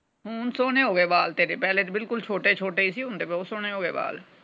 ਹੁਣ ਸੋਹਣੇ ਹੋ ਗਏ ਵਾਲ ਤੇਰੇ ਪਹਿਲੇ ਤੇ ਬਿਲਕੁਲ ਛੋਟੇ ਛੋਟੇ ਹੀ ਸੀ। ਹੁਣ ਤੇ ਬਹੁਤ ਸੋਹਣੇ ਹੋ ਗਏ ਵਾਲ।